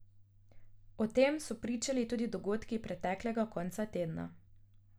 O tem so pričali tudi dogodki preteklega konca tedna.